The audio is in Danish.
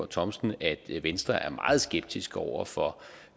thomsen at venstre er meget skeptisk over for